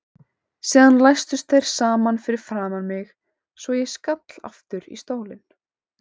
Síðan læstust þeir saman fyrir framan mig svo ég skall aftur í stólinn.